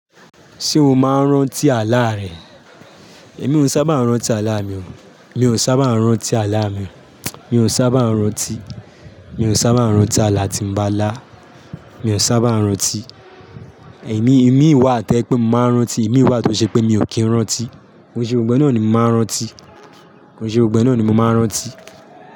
Ṣé o máa ń rántí àlá rẹ? Èmi ò sábà ń rántí àlá mi o. Mi ò sábà ń rántí àlá mi. Mi ò sábà ń rántí. Mi ò sábà ń rántí àlá tí mo bá lá. Mi ò sábà ń rántí. Ẹ̀yin, imi ì wà to jẹ pé mo máa ń rántí, imi ì wà tó ṣe pé mi ò kí ń rántí. Kòun ṣe gbogbo e náà ni mo máa ń rántí. Òun ṣe òun gbogbo náà ni mo máa ń rántí.